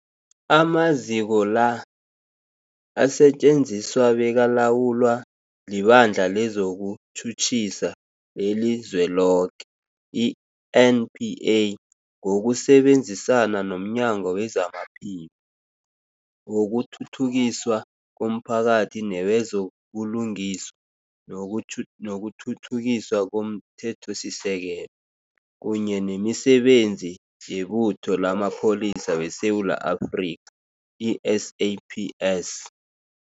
Amaziko la asetjenziswa bekalawulwa liBandla lezokuTjhutjhisa leliZweloke, i-NPA, ngokusebenzisana nomnyango wezamaPhilo, wokuthuthukiswa komphakathi newezo buLungiswa nokuThuthukiswa komThethosisekelo, kunye nemiSebenzi yeButho lamaPholisa weSewula Afrika, i-SAPS.